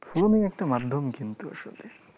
phone ই একটা মাধ্যম কিন্তু আসলে